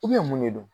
mun de don